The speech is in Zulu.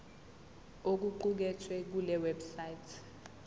okuqukethwe kule website